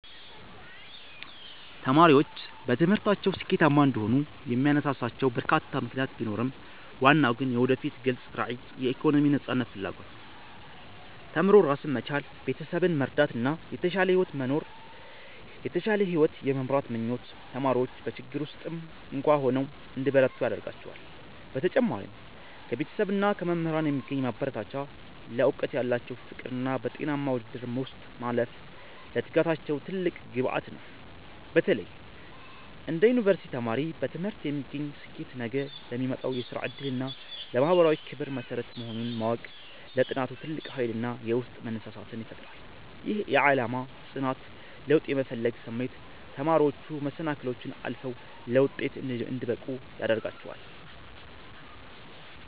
ተማሪዎች በትምህርታቸው ስኬታማ እንዲሆኑ የሚያነሳሷቸው በርካታ ምክንያቶች ቢኖሩም፣ ዋናው ግን የወደፊት ግልጽ ራዕይና የኢኮኖሚ ነፃነት ፍላጎት ነው። ተምሮ ራስን መቻል፣ ቤተሰብን መርዳትና የተሻለ ሕይወት የመምራት ምኞት ተማሪዎች በችግር ውስጥም እንኳ ሆነው እንዲበረቱ ያደርጋቸዋል። በተጨማሪም ከቤተሰብና ከመምህራን የሚገኝ ማበረታቻ፣ ለዕውቀት ያላቸው ፍቅርና በጤናማ ውድድር ውስጥ ማለፍ ለትጋታቸው ትልቅ ግብዓት ነው። በተለይ እንደ ዩኒቨርሲቲ ተማሪ፣ በትምህርት የሚገኝ ስኬት ነገ ለሚመጣው የሥራ ዕድልና ለማኅበራዊ ክብር መሠረት መሆኑን ማወቅ ለጥናቱ ትልቅ ኃይልና የውስጥ መነሳሳትን ይፈጥራል። ይህ የዓላማ ጽናትና ለውጥ የመፈለግ ስሜት ተማሪዎች መሰናክሎችን አልፈው ለውጤት እንዲበቁ ያደርጋቸዋል።